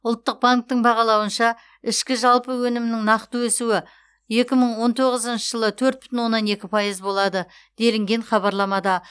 ұлттық банктің бағалауынша үшкі жалпы өнімнің нақты өсуі екі мың он тоғызыншы жылы төрт бүтін оннан екі пайыз болады делінген хабарламада